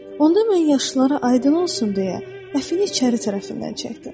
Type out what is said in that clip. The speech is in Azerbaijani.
Onda mən yaşlılara aydın olsun deyə əfini içəri tərəfindən çəkdim.